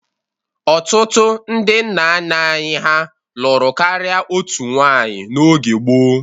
Ọtụtụ ndị nna nna anyị ha lụrụ karịa otu nwaanyị n'oge gboo.